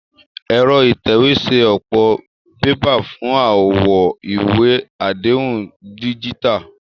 Ẹ̀rọ ìtẹ̀wé ń ṣe ọ̀pọ̀ bébà fún àwọn ìwé àdéhùn díjítà